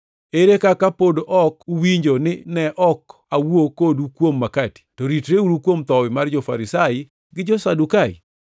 Ere kaka pod ok uwinjo ni ne ok awuo kodu kuom makati? To ritreuru kuom thowi mar jo-Farisai gi jo-Sadukai.”